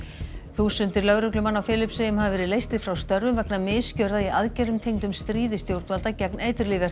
þúsundir lögreglumanna á Filippseyjum hafa verið leystir frá störfum vegna misgjörða í aðgerðum tengdum stríði stjórnvalda gegn